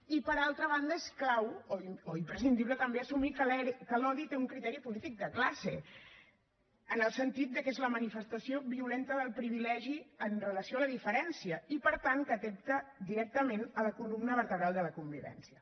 i per altra banda és clau o imprescindible també assumir que l’odi té un criteri polític de classe en el sentit que és la manifestació violenta del privilegi amb relació a la diferència i per tant que atempta directament a la columna vertebral de la convivència